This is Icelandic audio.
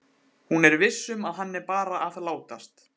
Hún er viss um að hann er bara að látast.